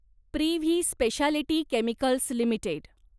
privy speciality chemicals limited